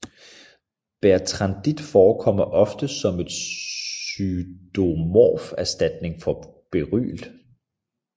Bertrandit forekommer ofte som en pseudomorf erstatning for beryl